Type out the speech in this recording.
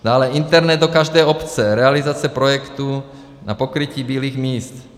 Dále Internet do každé obce - realizace projektu na pokrytí bílých míst.